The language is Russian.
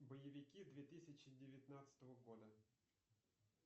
боевики две тысячи девятнадцатого года